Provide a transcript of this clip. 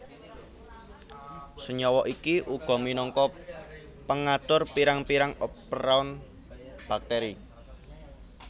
Senyawa iki uga minangka pengatur pirang pirang operon bakteri